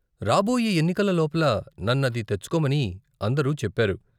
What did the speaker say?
రాబోయే ఎన్నికల లోపల నన్ను అది తెచ్చుకోమని అందరూ చెప్పారు.